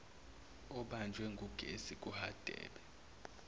obanjwe ngugesi kuhadebe